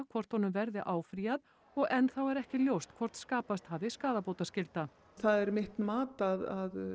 hvort honum verður áfrýjað og enn þá ekki ljóst hvort skapast hafi skaðabótaskylda það er mitt mat að